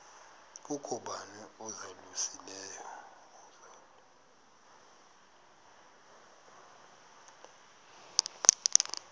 kukho bani uzalusileyo